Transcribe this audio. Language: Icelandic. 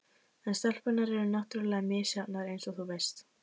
En stelpurnar eru náttúrlega misjafnar eins og þú veist.